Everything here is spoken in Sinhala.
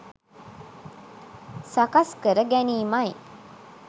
සකස් කර ගැනීමයි.